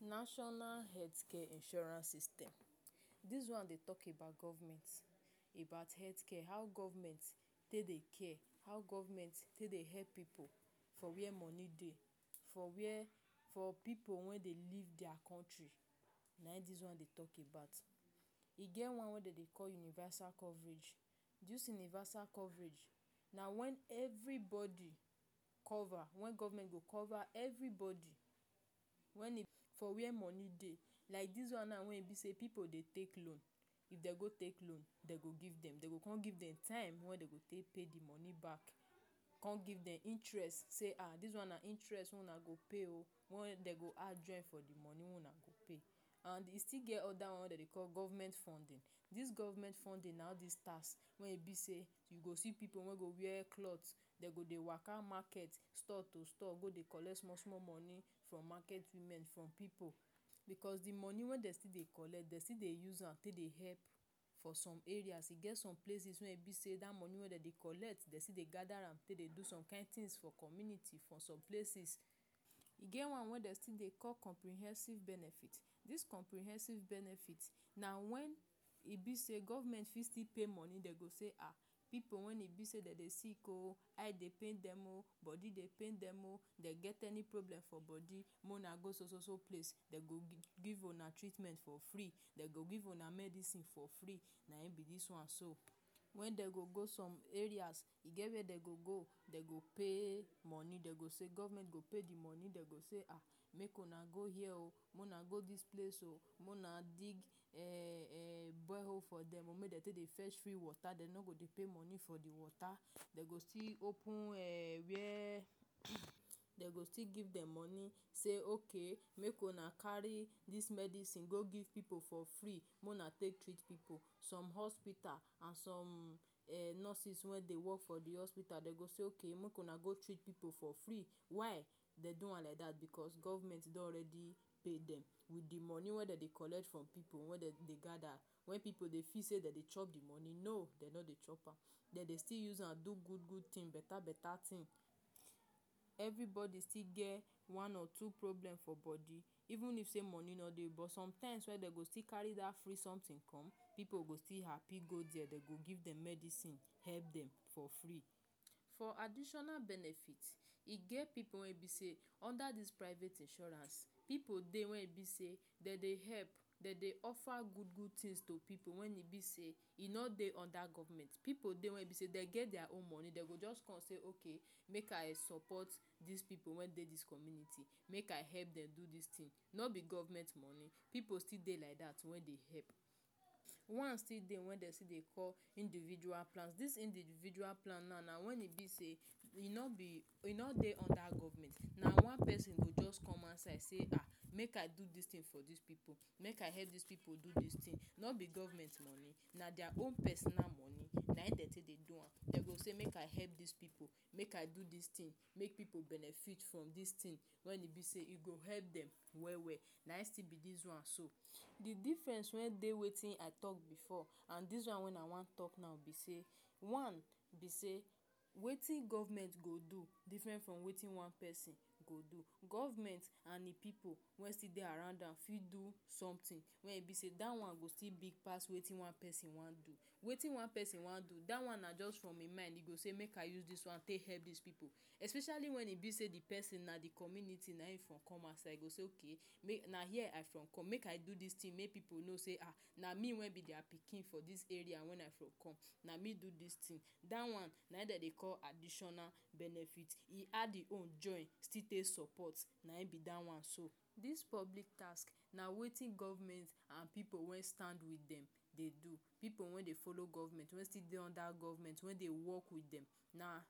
National Health Care Insurance System Dis one dey talk about government — about health care, how government take dey care, how government take dey help pipu for where money dey. For where for pipu wey dey live their country. Nayin dis one dey talk about. E get one wey dem dey call universal coverage. Dis universal coverage na when everybody cover when government go cover everybody when e for where money dey. Like dis one now wen be say pipu dey take loan. If dem go take loan, dem go give dem — dem go come give dem time wen dem go take pay the money back. Come give dem interest say ah dis one na interest wey una go pay oh! Wen dem go add join for the money wey una go pay and e still get other one wey dem dey call government funding. Dis government funding na all dis tax wey e be say, you go see pipu wey go wear cloth, dey go dey waka market, stall to stall, go dey collect small-small money from market women, from pipu. Because the money wey dem still dey collect, dem still dey use am take dey help for some areas. E get some places wey e be say dat money wey dem dey collect, dem still dey gather am take dey do some kind things for community — for some places. E get one wey dem still dey call comprehensive benefit. Dis comprehensive benefit na when e be say government fit still pay money. Dem go say, “um Pipu wen e be say dem dey sick oh! Eye dey pain dem oh! Body dey pain dem oh! Dem get any problem for dem body — mo una go so-so place, dem go give una treatment for free. Dem go give una medicine for free.” Nayin be dis one so. When dem go some areas, e get where dem go go, dem go pay money. Dem go say government go pay the money. Dem go say, “um Make una hear oh! Make una go dis place oh! Make una dig um borehole for dem oh, make dem take dey fetch free water.” Dem no go dey pay money for the water. Dem go still open um. Dem go still give dem money say, “Okay! Make una carry dis medicine go give pipu for free. Mo una take treat pipu.” Some hospita and some um nurses wen dey work for the hospita, dem go say, “Okay! Make una go treat pipu for free.” Why dem dey do am like dat? Because government don already pay dem. With the money wey dem dey collect from pipu, wen dem dey gather — wen pipu dey feel say dem dey chop the money — no! Dem no dey chop am. Dem dey still use am do good-good things. Beta-beta thing. Everybody still get one or two problem for body. Even if say money no dey, but sometimes dem go still carry dat free something come, pipu go still happy go there. Dem go give dem medicine, help dem for free. For additional benefit, e get pipu wen be say under dis private insurance, pipu dey wen e be say dem dey help. Dem dey offer good-good things to pipu when e be say e no dey under government. Pipu dey wey e be say dem get their own money. Dem go just come say, “Okay, make I support dis pipu wen dey dis community. Make I help dem do dis thing.” No be government money. Pipu still dey like dat wen dey help. One still dey wey dem dey call individual plans. Dis individual plan now na when e be say you no be you no dey under government. Na one pesin go just come outside say, “um Make I do dis thing for dis pipu. Make I help dis pipu do dis thing.” No be government money. Na their own personal money dem take dey do am. Dem go say, “Make I help dis pipu. Make I do dis thing. Make pipu benefit from dis thing wey go help dem well-well.” Nayin still be dis one so. The difference wen dey wetin I talk before and dis one wen I wan talk now be say: One be say, wetin government go do different from wetin one pesin go do. Government and the pipu wen still dey around am fit do something wey go big pass wetin one pesin wan do. Wetin one pesin wan do — dat one na just from e mind. E go say, “Make I use dis one take help dis pipu.” Especially when e be say the pesin na the community nayim im from come outside E go say, “Okay! Make I do dis thing make pipu know say na me — wey be their pikin for dis area — na me do dis thing.” Dat one na wetin dem dey call additional benefit. E add e own join still take support — nayin be dat one so. Dis public task — na wetin government and pipu wey stand with dem dey do. Pipu wey dey follow government — wey still dey under government, wey dey work with dem — na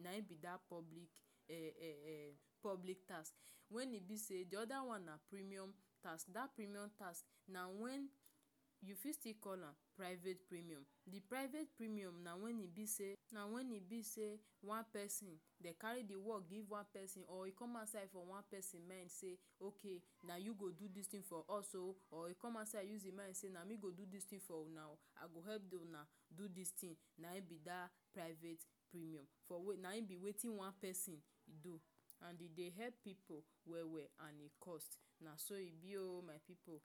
nayin be dat public um public task. The other one na premium task. Dat premium task —na wen you fit still call am private premium. The private premium na when e be say na when e be say one pesin… Dem carry the work give one pesin or e come outside from one pesin mind say: “Okay! Na you go do dis thing for us oh! or e come outside use e mind say na me go do dis thing for una oh I go help una do dis thing.” Nayin be dat private premium. For Nayin be wetin one pesin do — and e dey help pipu well-well. And e cost. Naso e be oh, my pipu.